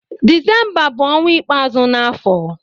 Disemba bu onwa ikpeazu n'afo